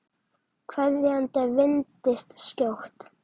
Kveðjan vandist skjótt.